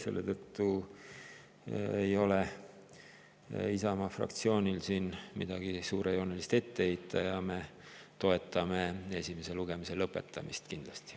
Selle tõttu ei ole Isamaa fraktsioonil siin midagi suurt ette heita ja me toetame esimese lugemise lõpetamist kindlasti.